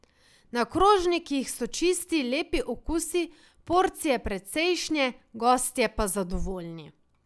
Na krožnikih so čisti, lepi okusi, porcije precejšnje, gostje pa zadovoljni.